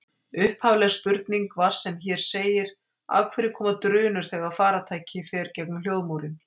Upphafleg spurning var sem hér segir: Af hverju koma drunur þegar farartæki fer gegnum hljóðmúrinn?